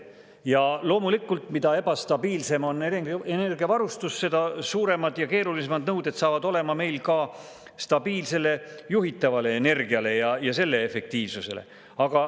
Ja loomulikult, mida ebastabiilsem on energiavarustus, seda suuremad ja keerulisemad nõuded saavad olema meil ka stabiilsele juhitavale energiale ja selle efektiivsusele.